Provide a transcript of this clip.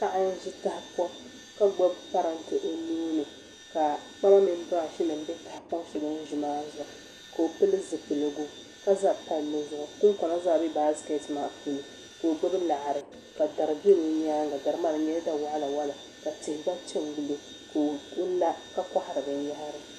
Paɣa n ʒi tahapoŋ ka gbubi parantɛ o nuuni ka kpama mini birash nim bɛ tahapoŋ shɛli o ni ʒi maa ni ka o pili zipiligu ka ʒɛ palli zuɣu kunkuna mini baskɛt zaa bɛ naskɛt maa ni ka o gbubi laɣari ka dari bɛ o nyaanga dari maa di nyɛla da waɣala waɣala ka tihi gba piɛ n gilo ka o la ka kohari binyahari